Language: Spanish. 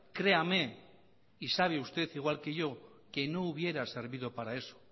créame y sabe usted igual que yo que no hubiera servido para eso